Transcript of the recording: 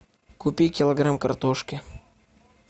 купи килограмм картошки